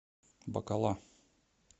бакала